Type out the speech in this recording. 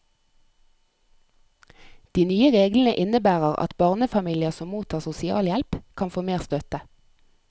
De nye reglene innebærer at barnefamilier som mottar sosialhjelp, kan få mer støtte.